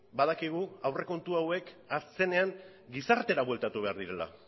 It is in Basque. badakigu aurrekontu hauek azkenean gizartera bueltatu behar direla